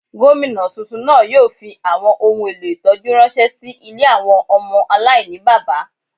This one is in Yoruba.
Gomina túntún náà yóò fí awọn ohún èlò ìtọjú ránṣẹ sí ilé awọn ọmọ aláìníbábá.